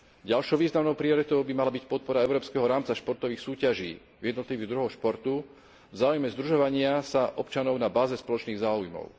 Ďalšou významnou prioritou by mala byť podpora európskeho rámca športových súťaží v jednotlivých druhoch športu v záujme združovania sa občanov na báze spoločných záujmov.